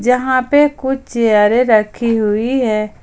यहां पे कुछ चेयरें रखी हुई है।